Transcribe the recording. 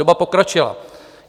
Doba pokročila.